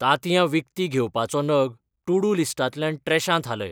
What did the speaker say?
तांतयां विकतीं घेवपाचो नग टू-डू लिस्टांतल्यान ट्रॅशांत हालय